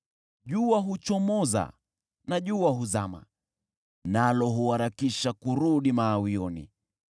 Jua huchomoza na jua huzama, nalo huharakisha kurudi mawioni.